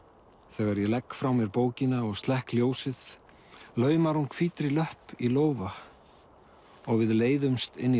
þegar ég legg frá mér bókina og slekk ljósið laumar hún hvítri löpp í lófa og við leiðumst inn í